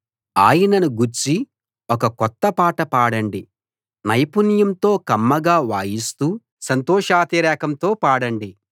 ఆయనను గూర్చి ఒక కొత్త పాట పాడండి నైపుణ్యంతో కమ్మగా వాయిస్తూ సంతోషాతిరేకంతో పాడండి